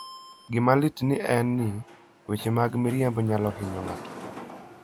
Gima lit en ni, weche mag miriambo nyalo hinyo ng'ato.